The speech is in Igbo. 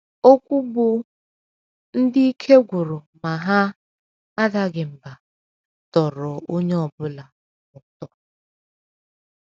Okwu bụ́ “ Ndị Ike Gwụrụ Ma Ha Adaghị Mbà ” tọrọ onye ọ bụla ụtọ. bụla ụtọ.